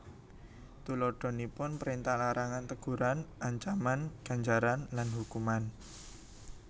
Tuladhanipun prèntah larangan teguran ancaman ganjaran lan hukuman